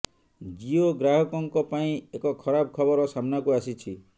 ଜିଓ ଗ୍ରାହକଙ୍କ ପାଇଁ ଏକ ଖରାପ ଖବର ସାମ୍ନାକୁ ଆସିଛି